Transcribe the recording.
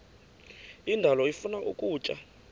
indalo ifuna ukutya